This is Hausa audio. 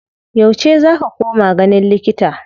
Yauce za ka koma ganin likita?